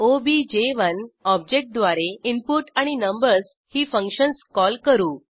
ओबीजे1 object द्वारे input आणि numbers ही फंक्शन्स कॉल करू